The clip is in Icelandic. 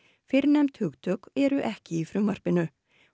fyrrnefnd hugtök eru ekki í frumvarpinu